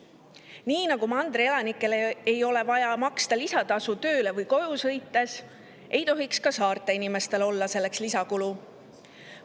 Nii nagu mandri elanikel ei ole vaja maksta lisatasu tööle või koju sõites, ei tohiks ka saarte inimestel olla selleks lisakulu.